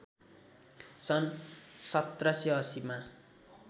सन् १७८० मा